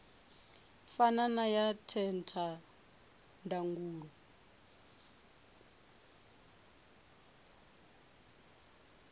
fana na ya theta ndangulo